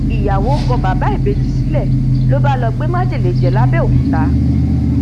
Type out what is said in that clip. ìyàwó kọ bàbá ìbejì sílẹ ló bá ló bá gbé májèlé jẹ lábèòkúta